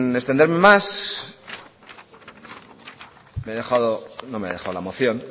extenderme más no me he dejado la moción